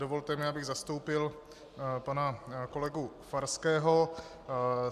Dovolte mi, abych zastoupil pana kolegu Farského.